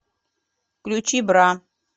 включи бра